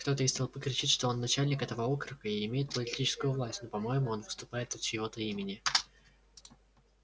кто-то из толпы кричит что он начальник этого округа и имеет политическую власть но по-моему он выступает от чьего-то имени